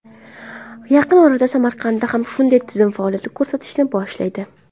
Yaqin orada Samarqandda ham shunday tizim faoliyat ko‘rsatishni boshlaydi.